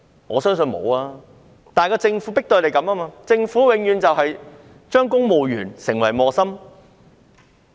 我相信不是，而是政府迫使警察這樣做，政府永遠把公務員變成為磨心。